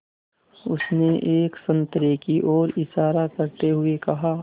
उसने एक संतरे की ओर इशारा करते हुए कहा